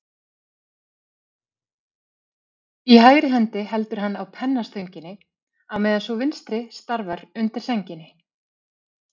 Í hægri hendi heldur hann á pennastönginni, á meðan sú vinstri starfar undir sænginni.